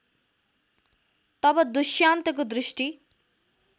तब दुष्यन्तको दृष्टि